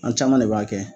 An caman ne b'a kɛ